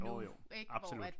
Jo jo absolut